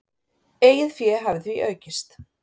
Eigið fé hafi því aukist.